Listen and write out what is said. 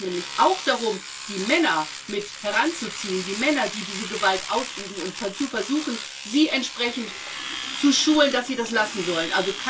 Da geht es nämlich auch darum, die Männer mit heranzuziehen die Männer, die diese Gewalt ausüben und zu versuchen, sie entsprechend zu schulen, dass sie das lassen sollen.